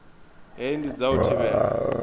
hei ndi dza u thivhela